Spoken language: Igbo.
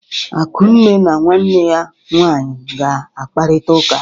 Akunne na nwanne ya nwaanyị ga-akparịta ụka.